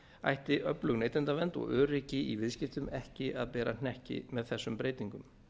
ætti öflug neytendavernd og öryggi í viðskiptum ekki að bera hnekki með þessum breytingum